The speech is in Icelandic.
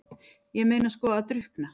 Ég meina sko að drukkna?